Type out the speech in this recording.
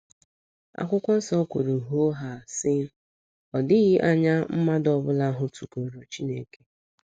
Akwụkwọ nso kwuru hoo haa, sị: “ Ọ dịghị anya mmadụ ọbụla hụtụgoro Chineke. ”